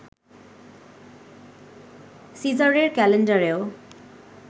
সিজারের ক্যালেন্ডারেও